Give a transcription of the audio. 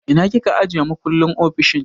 Ina kika ajiye makullin ofishin?